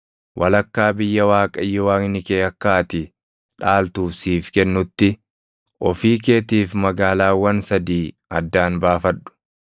walakkaa biyya Waaqayyo Waaqni kee akka ati dhaaltuuf siif kennutti ofii keetiif magaalaawwan sadii addaan baafadhu.